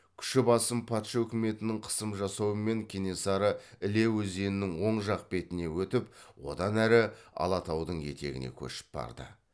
күші басым патша үкіметінің қысым жасауымен кенесары іле өзенінің оң жақ бетіне өтіп одан әрі алатаудың етегіне көшіп барды